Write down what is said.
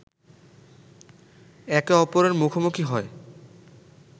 একে অপরের মুখোমুখি হয়